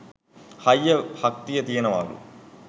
හයිය හත්තිය තියෙනවාලු.